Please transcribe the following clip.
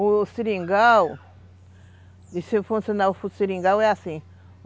O seringal, de se funcionar o seringal é assim.